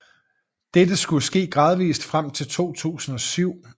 Dette skulle ske gradvist frem til 2007